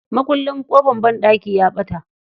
Makullin ƙofan banɗaki ya ɓata.